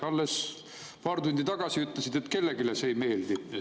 Alles paar tundi tagasi ütlesite, et kellelegi see ei meeldi.